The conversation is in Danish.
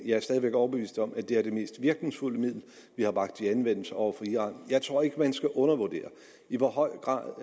jeg er stadig væk overbevist om at det er det mest virkningsfulde middel vi har bragt i anvendelse over for iran jeg tror ikke at man skal undervurdere i hvor høj grad